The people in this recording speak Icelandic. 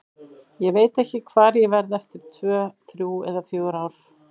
Ég veit ekki hvar ég verð eftir tvö, þrjú eða fjögur ár.